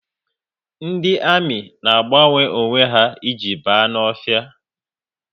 Ndị ami na agbanwe onwe ha e ji ba n'ọhịa